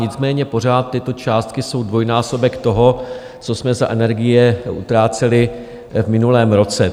Nicméně pořád tyto částky jsou dvojnásobek toho, co jsme za energie utráceli v minulém roce.